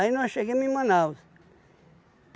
nós chegamos em Manaus.